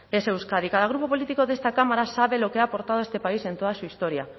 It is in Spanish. es euskadi cada grupo político de esta cámara sabe lo que ha aportado a este país en toda su historia